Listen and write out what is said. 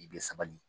I bɛ sabali